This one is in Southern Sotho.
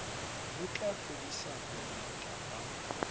ho tla fedisa bongata ba